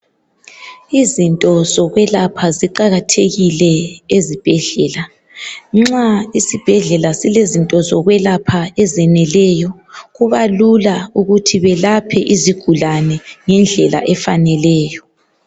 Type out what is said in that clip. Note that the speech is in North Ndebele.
Izinto zokwelapha ziqakathekile ezibhedlela nxa isibhedlela silezinto zokwelapha ezeneleyo kuba lula ukuthi belaphe izigulane ngendlela efaneleyo.